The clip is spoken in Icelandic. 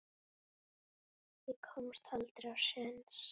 Ég komst aldrei á séns.